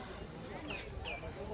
Bəs sən dedin ki, mənim adımdan elədir.